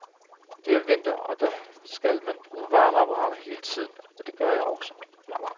Det er vinter, og da skal man bruge varmeapparatet hele tiden, og det gør jeg så.